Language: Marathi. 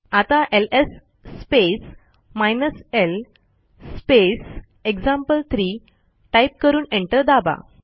आता LS space hyphen L space example three type करून एंटर दाबा